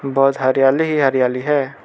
बहोत हरियाली ही हरियाली है।